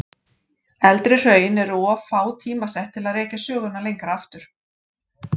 Eldri hraun eru of fá tímasett til að rekja söguna lengra aftur.